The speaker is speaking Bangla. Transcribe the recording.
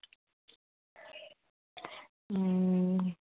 হম